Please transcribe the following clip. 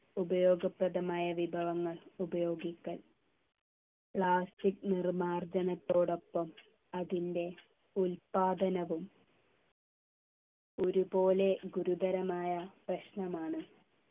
ഉപയോഗപ്രദമായ വിഭവങ്ങൾ ഉപയോഗിക്കാൻ plastic നിർമാർജനത്തോടൊപ്പം അതിൻ്റെ ഉല്പാദനവും ഒരുപോലെ ഗുരുതരമായ പ്രശ്നമാണ്